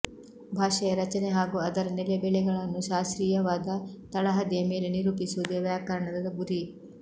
ಭಾಷೆಯ ರಚನೆ ಹಾಗೂ ಅದರ ನೆಲೆ ಬೆಲೆಗಳನ್ನು ಶಾಸ್ತ್ರೀಯವಾದ ತಳಹದಿಯ ಮೇಲೆ ನಿರೂಪಿಸುವುದೇ ವ್ಯಾಕರಣದ ಗುರಿ